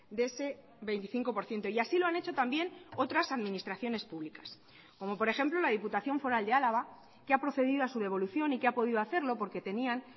de ese veinticinco por ciento y así lo han hecho también otras administraciones públicas como por ejemplo la diputación foral de álava que ha procedido a su devolución y que ha podido hacerlo porque tenían